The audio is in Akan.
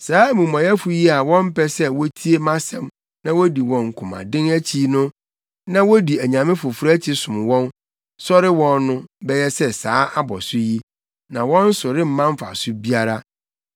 Saa amumɔyɛfo yi a wɔmpɛ sɛ wotie mʼasɛm na wodi wɔn komaden akyi na wodi anyame afoforo akyi som wɔn, sɔre wɔn no, bɛyɛ sɛ saa abɔso yi, na wɔn so remma mfaso biara!